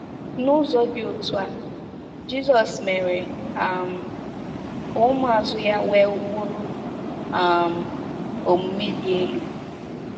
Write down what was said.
N’ụzọ dị otú a, Jizọs mere um ka ụmụazụ ya nwee ụkpụrụ um omume dị elu.